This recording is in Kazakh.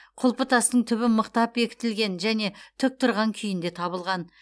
құлпытастың түбі мықтап бекітілген және тік тұрған күйінде табылған